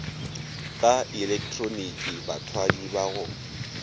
ka ilektroniki bathwadi ba go